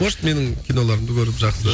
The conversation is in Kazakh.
может менің киноларымды көріп жақсы